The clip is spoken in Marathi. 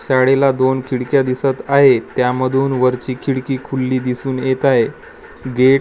साडीला दोन खिडक्या दिसत आहेत त्यामधून वरची खिडकी खुल्ली दिसून येत आहे गेट --